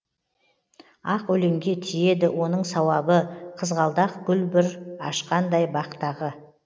ақ өлеңге тиеді оның сауабы қызғалдақ гүл бүр ашқандай бақтағы